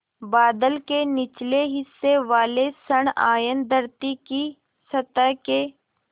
बादल के निचले हिस्से वाले ॠण आयन धरती की सतह के